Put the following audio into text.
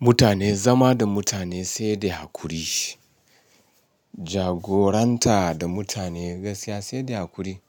Mutane zama da mutane sai da hakuri. Jagoranta da mutane gaskiya sai da hakuri.